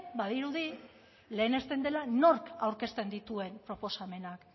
badirudi lehenesten dela nork aurkezten dituen proposamenak